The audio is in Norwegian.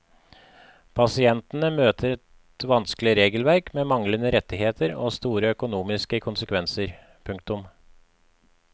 Pasientene møter et vanskelig regelverk med manglende rettigheter og store økonomiske konsekvenser. punktum